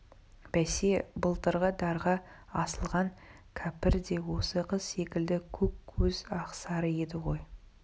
бәсе былтырғы дарға асылған кәпір де осы қыз секілді көк көз ақсары еді ғой